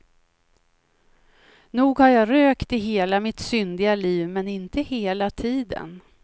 Nog har jag rökt i hela mitt syndiga liv, men inte hela tiden.